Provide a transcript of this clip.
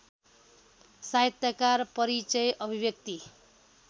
साहित्यकार परिचय अभिव्यक्ति